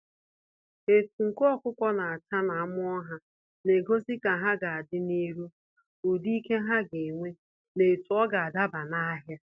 Etu nku ọkụkọ na acha na amụọ ha, na egosi ka ha ga adị n'iru, ụdị ike ha ga enwe na etu ọga adaba n'ahia.